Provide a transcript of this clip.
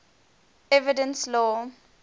evidence law